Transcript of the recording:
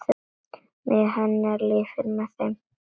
Minning hennar lifir með þeim.